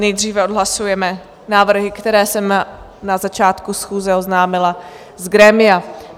Nejdříve odhlasujeme návrhy, které jsem na začátku schůze oznámila z grémia.